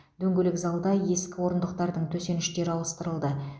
дөңгелек залда ескі орындықтардың төсеніштері ауыстырылды